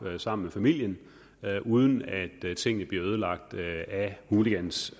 sammen med familien uden at at tingene bliver ødelagt af hooligans